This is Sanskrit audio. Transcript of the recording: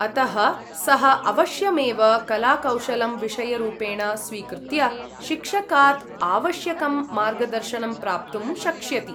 अतः, सः अवश्यमेव कलाकौशलं विषयरूपेण स्वीकृत्य शिक्षकात् आवश्यकं मार्गदर्शनं प्राप्तुं शक्ष्यति।